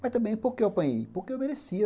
Mas também por que eu apanhei, porque eu merecia.